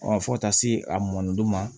fo taa se a mɔndon ma